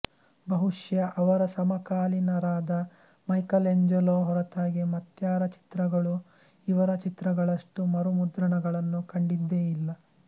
ಬಹುಶಃ ಅವರ ಸಮಕಾಲೀನರಾದ ಮೈಕೆಲ್ ಎಂಜೆಲೋ ಹೊರತಾಗಿ ಮತ್ಯಾರ ಚಿತ್ರಗಳೂ ಇವರ ಚಿತ್ರಗಳಷ್ಟು ಮರುಮುದ್ರಣಗಳನ್ನು ಕಂಡಿದ್ದೇ ಇಲ್ಲ